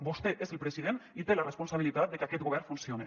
vostè és el president i té la responsabilitat de que aquest govern funcione